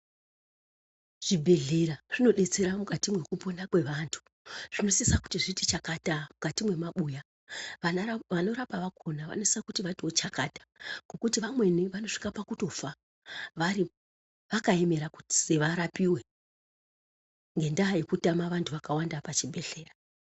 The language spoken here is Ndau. Zvibhedhlera zvinodetsera mukati mwekupona kwevantu zvinosisa kuti zviti chakata mukati mwemabuya vanorapa vakona vanosisa kuti vatiwo chakata ngokuti vamweni vanosvika pakutofa varimo vakaemera kuti varapiwe ngendaa yekutama vantu vakawanda pachibhedhleya.